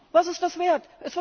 Was ist das wert?